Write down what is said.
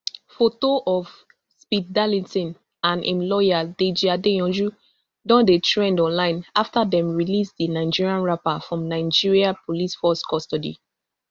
foto of speed darlington and im lawyer deji adeyanju don dey trend online afta dem release di nigerian rapper from nigeria police force custody